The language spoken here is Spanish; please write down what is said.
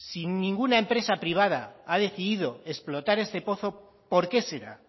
si ninguna empresa privada ha decidido explotar este pozo por qué será